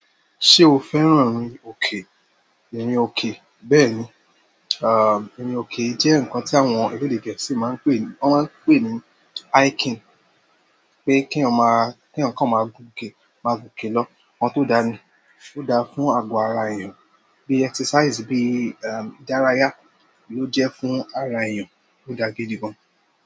Ṣé o fẹ́ràn rin òkè? Irin òkè, bẹ́ẹ̀ni. À, irin òkè jẹ́ ǹkan tí àwọn elede Gẹ̀ẹ́sì máa ń pè, wọ́n ma n pè ní hiking. Pé kí eyan ma, kí eyan kan máa gùn òkè, máa gùn òkè lọ. Nkan tó dáa ni, ó dáa fún ago ara èèyàn bí exercise, bí, ehm, ìdárayá ní ó jẹ́ fún ara èèyàn, ó dáa gidi gan.